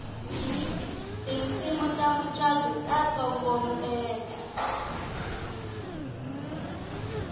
tinsimu ta mucato ta tsokombela